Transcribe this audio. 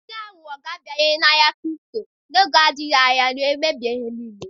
Ndị aghụghọ ga-abanye n'ahịa kripto n'oge adịghị anya wee mebie ihe niile.